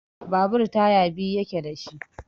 Babur taya biyu yake da shi.